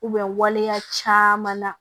waleya caman na